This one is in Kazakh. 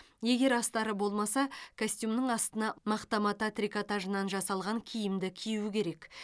егер астары болмаса костюмнің астына мақта мата трикотажынан жасалған киімді кию керек